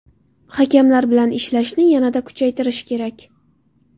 Hakamlar bilan ishlashni yanada kuchaytirish kerak.